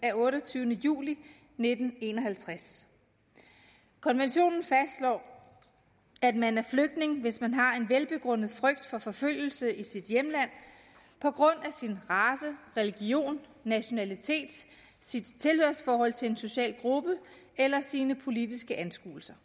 af otteogtyvende juli nitten en og halvtreds konventionen fastslår at man er flygtning hvis man har en velbegrundet frygt for forfølgelse i sit hjemland på grund af sin race religion nationalitet sit tilhørsforhold til en social gruppe eller sine politiske anskuelser